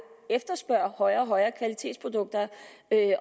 efterspørger produkter af højere